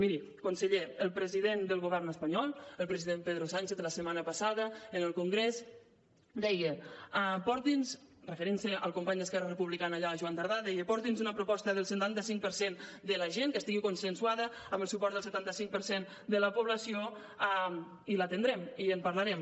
miri conseller el president del govern espanyol el president pedro sánchez la setmana passada en el congrés deia referint se al company d’esquerra republicana allà joan tardà porti’ns una proposta del setanta cinc per cent de la gent que estigui consensuada amb el suport del setanta cinc per cent de la població i l’atendrem i en parlarem